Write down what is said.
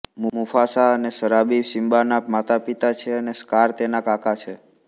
Mufasa અને Sarabi સિમ્બાનાં માતાપિતા છે અને સ્કાર તેના કાકા છે